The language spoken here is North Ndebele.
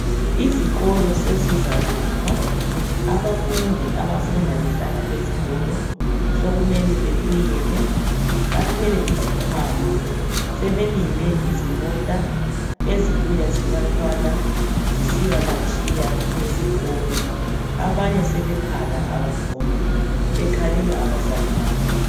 Izikolo sezizavulwa abafundi abafunda behlala ezikolo sokumele bebuyele bathwele izikhwama sebelinde izimota ezibuya zibathwala zisiyabatshiya esikolo abanye sebekhala abafundi bekhalela abazali babo